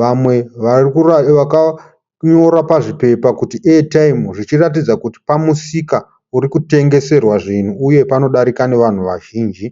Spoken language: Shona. Vamwe vakanyora pazvipepa kuti "Airtime" zvichiratidza kuti pamusika uri kutengeserwa zvinhu uye panodarika nevanhu vazhinji.